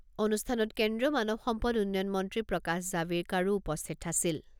অনুষ্ঠানত কেন্দ্ৰীয় মানৱ সম্পদ উন্নয়ন মন্ত্ৰী প্ৰকাশ জাভেকাড়ো উপস্থিত আছিল।